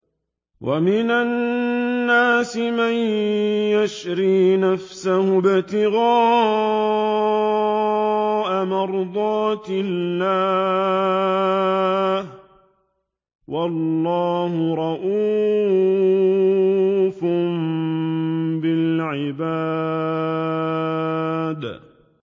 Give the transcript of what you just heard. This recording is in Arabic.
وَمِنَ النَّاسِ مَن يَشْرِي نَفْسَهُ ابْتِغَاءَ مَرْضَاتِ اللَّهِ ۗ وَاللَّهُ رَءُوفٌ بِالْعِبَادِ